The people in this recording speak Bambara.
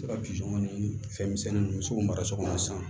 Se ka ni fɛn misɛnnin ninnu misiw mara so kɔnɔ sisan